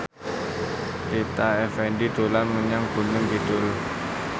Rita Effendy dolan menyang Gunung Kidul